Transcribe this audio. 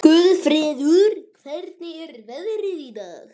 Guðfreður, hvernig er veðrið í dag?